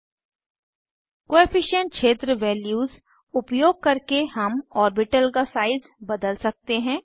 coefficient coefficient क्षेत्र values उपयोग करके हम ऑर्बिटल का साइज बदल सकते हैं